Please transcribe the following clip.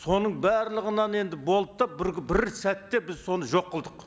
соның барлығынан енді болдық та бір бір сәтте біз соны жоқ қылдық